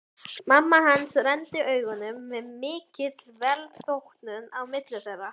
Mamma hans renndi augunum með mikilli velþóknun á milli þeirra.